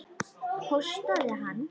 Hóstaði hann?